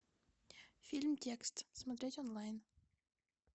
фильм текст смотреть онлайн